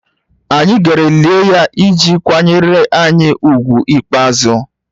Anyị gara lie ya iji kwanyere anyị ùgwù ikpeazụ